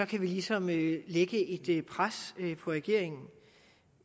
kan vi ligesom lægge lægge et pres på regeringen